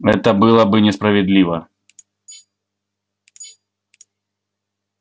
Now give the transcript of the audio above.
это было бы несправедливо